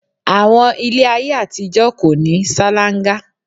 Àwọn ilé ayé àtijọ́ kò ní salanga